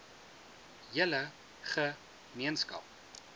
hele ge meenskap